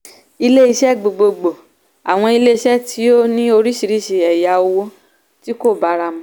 ilé-iṣẹ́ gbogbogbò - àwọn ilé-iṣẹ́ tí ó ní oríṣiríṣi ẹ̀yà òwò tí kò bára mu.